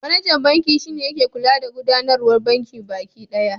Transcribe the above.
Manajan banki shi ne yake kula da gudanarwar bankin baki ɗaya.